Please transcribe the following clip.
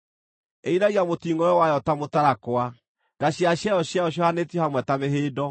Ĩinagia mũtingʼoe wayo ta mũtarakwa; nga cia ciero ciayo ciohanĩtio hamwe ta mĩhĩndo.